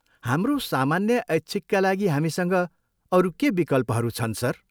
हाम्रो सामान्य ऐच्छिकका लागि हामीसँग अरू के विकल्पहरू छन् सर?